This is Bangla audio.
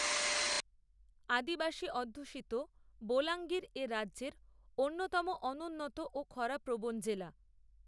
আদিবাসী অধ্যুষিত বোলাঙ্গির এ রাজ্যের অন্যতম অনুন্নত ও খরাপ্রবণ জেলা